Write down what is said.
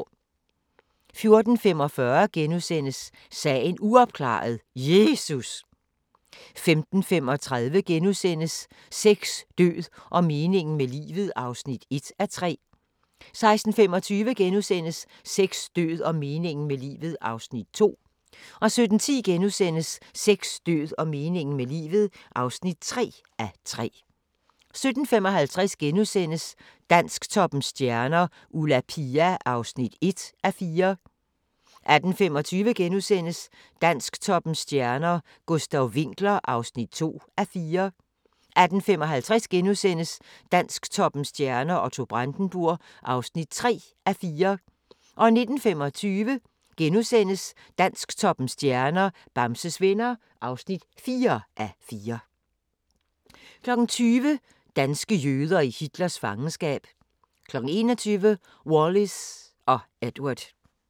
14:45: Sagen uopklaret – Jesus! * 15:35: Sex, død og meningen med livet (1:3)* 16:25: Sex, død og meningen med livet (2:3)* 17:10: Sex, død og meningen med livet (3:3)* 17:55: Dansktoppens stjerner: Ulla Pia (1:4)* 18:25: Dansktoppens stjerner: Gustav Winckler (2:4)* 18:55: Dansktoppens stjerner: Otto Brandenburg (3:4)* 19:25: Dansktoppens stjerner: Bamses Venner (4:4)* 20:00: Danske jøder i Hitlers fangenskab 21:00: Wallis & Edward